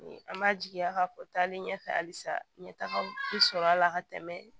An b'a jigiya ka fɔ taali ɲɛfɛ halisa ɲɛtaga bɛ sɔrɔ a la ka tɛmɛ